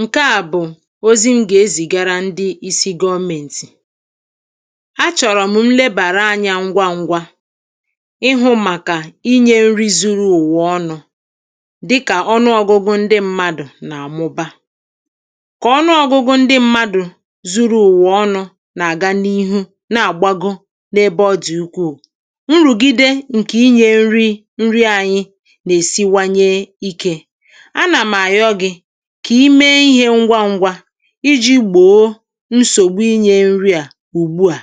Nkè à bụ̀ ozi m gà-ezìgara ndị isi̇ gọọmentì achọ̀rọ̀ m nlebàra anyȧ ngwa ngwa ịhụ̇ màkà inyė nri zuru ùwa ọnụ̇ dịkà ọnụ ọ̇gụ̇gụ̇ ndị mmadụ̀ nà-àmụba. Kà ọnụ ọ̇gụ̇gụ̇ ndị mmadụ̀ zuru ụ̀wà ọnụ̇ nà-àga n’ihu na-àgbagoo n’ebe ọ dị̀ ukwuù nrùgide ǹkè inyė nri nri anyị nà-èsiwanye ikė. A nà m ayọ gị kà ime ihė ngwa ngwa iji̇ gbòo nsògbu inyė nri à ùgbu à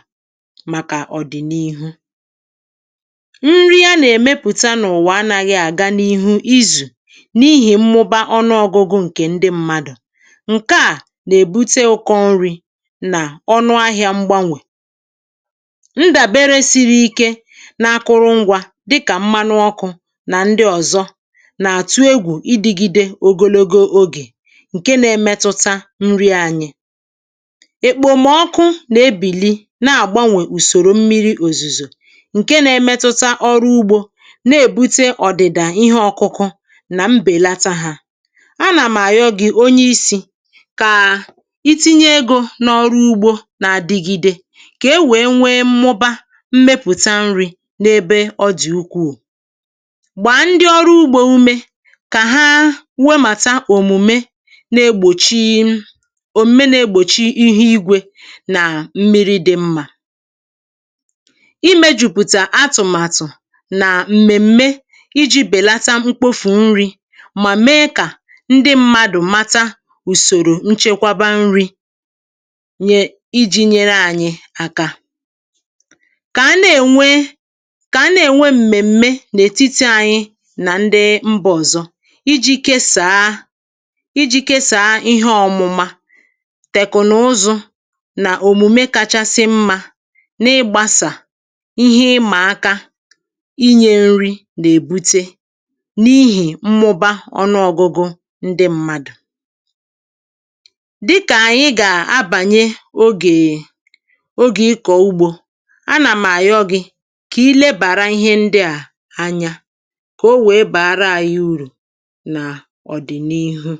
màkà ọ̀dị̀nihu. Nri a nà-èmepụta n’ụ̀wà anaghị n’ihu izù n’ihì mmụba ọnụ ọ̇gụ̇gụ̇ ǹkè ndị mmadụ̀ ǹke à nà-èbute ụkọ nri̇ nà ọnụ ahịȧ mgbanwè. Ndàbere siri ike n’akụrụ ngwȧ dịkà mmanụ ọkụ̇ nà ndị ọ̀zọ nà atụ égwú ịdịgịde ogologo ógè ǹke na-emetụta nri ànyị. Èkpòmọkụ nà ebìli na-àgbanwè ùsòrò mmiri̇ òzùzò ǹke na-emetụta ọrụ ugbȯ na-èbute ọ̀dị̀dà ihé ọkụkụ nà m bèlata hȧ, anà m àyọ gị̇ onye isi̇ kà iti̇nye egȯ n’ọrụ ugbȯ nà àdịgi̇de kà e wèe nwee mụba mmepụ̀ta nri̇ n’ebe ọ dị̀ ukwuù. Gbaa ndị ọrụ ugbo ume kà há nwemata òmùme na-egbòchi um òmùme na-egbòchi ihé igwė nà mmiri dị mmà. I mejùpụtà atụ̀màtụ̀ nà m̀mèm̀me iji̇ bèlata mkpofù nri mà mee kà ndị mmadụ̀ mata ùsòrò nchekwaba nri̇ nye iji̇ nyere ànyị àkà kà a na-ènwe kà a na-ènwe m̀mèm̀me n’ètitì anyị nà ndị mba ọ̀zọ iji̇ kesàa iji kesàa ihé ọ̀mụma, tèkụ̀naụzụ nà òmùme kachasị mmȧ n’ịgbȧsà ihé ịmà aka inyė nri nà-èbute n’ihì mmụba ọnụ ȯgụgụ ndị mmadụ̀. Dịkà ànyị gà-abànye ogèè um ogè ịkọ̀ ugbȯ a nà m ayọ gị kà iilebàra ihé ndị à anyȧ kà o wèe bàara ànyị urù nà ọdịnihu.